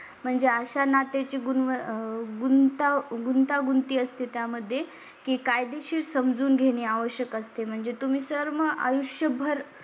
म्हणजे अशा नात्याची. गुणाह. गुंतागुंती असते त्या मध्ये की कायदेशीर समजून घेणे आवश्यक असते. म्हणजे तुम्ही सर्व आयुष्यभर